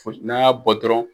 n'a y'a bɔ dɔrɔn.